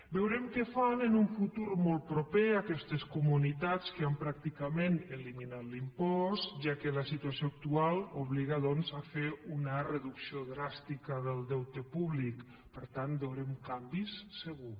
veurem què fan en un futur molt proper aquestes comunitats que han pràcticament eliminat l’impost ja que la situació actual obliga doncs a fer una reducció dràstica del deute públic per tant veurem canvis segur